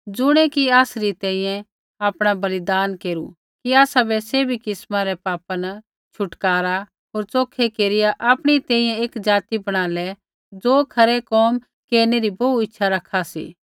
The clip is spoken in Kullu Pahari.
ज़ुणियै कि आसरी तैंईंयैं आपणा बलिदान केरु कि आसाबै सैभी प्रकारै रै पापा न छुटकारा होर च़ोखै केरिया आपणी तैंईंयैं एक ज़ाति बणाले ज़ो खरै कोम केरनै री बोहू इच्छा रखा सी